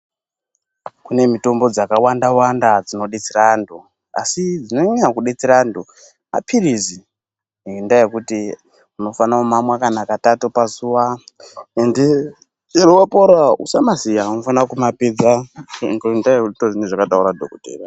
Kune mitombo dzakawanda wanda dzinodetsera antu asi dzinonyanya kudetsera antu mapilizi ngendaa yekuti unofan kumamwa kana katatu pazuwa ende wapora Usamasiya unofana kumapedza ngendaa yekuti ndozvinenge zvakataura dhokotera.